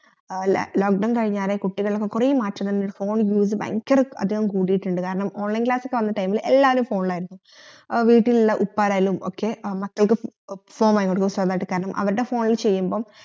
lock down കയ്ഞ്ഞേരെ കുട്ടികൾക്കൊക്കെ കൊറേ മാറ്റങ്ങൾ phone ഉപയോഗിച്ചു ഭയങ്കര അധികം കോടട്ടുണ്ട് കാരണം online class വന്ന time ഇൽ എല്ലാരും phone ഇലയർന്നു വീട്ടിലെള്ള ഉപ്പാരായാലും ഒക്കെ മക്കൾക്കു phone വാങ്ങി കൊടുക്കും സ്വന്തായിട്ട് കാരണം അവരുടെ phone ഇത് ചെയ്‌യമ്പം